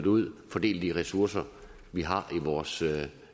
ud og fordele de ressourcer vi har i vores